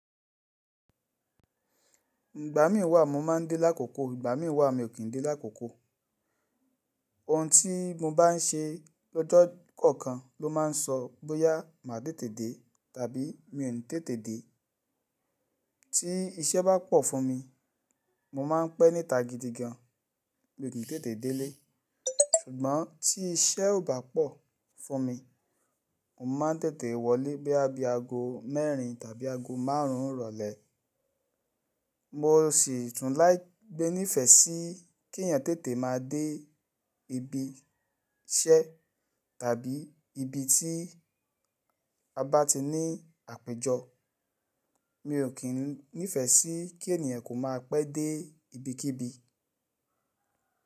Ìgbà mí wà mo ma ń dé lákòókò, ìgbà mí wà mi ò kín ń dé lákòókò. Òun tí mo bá ń ṣe lọ́jọ́ kọ̀ọ̀kan ló ma ń sọ bóyá máa tètè dé tàbí mi òni tètè dé. Tí iṣẹ́ bá pọ̀ fún mi, mo ma ń pẹ́ níta gidi gan, mi ò tètè délé. Ṣùgbọ́n tí iṣẹ́ ò bá pọ̀ fún mi, mo ma ń tètè wọlé bí a bí aago mẹ́rin tàbí aago márùn ún rọ̀lẹ́. Mo sì tún láí gbé ní ìfẹ́ sí kí ènìyàn tètè máa dé ibi iṣẹ́ tàbí ibi tí a bá ti ní àpéjọ. Mi ò kín nífẹ̀ẹ́ sí kí ènìyàn kó máa pẹ́ dé ibikíbi.